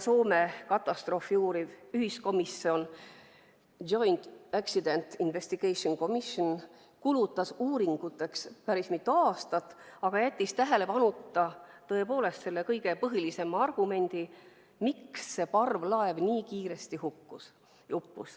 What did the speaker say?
Katastroofi uuriv Rootsi, Eesti ja Soome ühiskomisjon Joint Accident Investigation Commission kulutas uuringuteks päris mitu aastat, aga jättis tähelepanuta kõige põhilisema argumendi, miks see parvlaev nii kiiresti uppus.